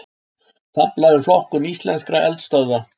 Tafla um flokkun íslenskra eldstöðva